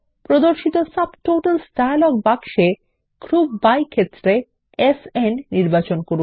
প্রদর্শিত subtotals dialog বাক্সের group by ক্ষেত্র থেকে সান নির্বাচন করুন